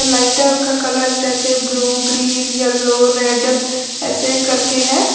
लाइटों का कलर जैसे ब्लू ग्रीन येलो रेड ऐसे करके है।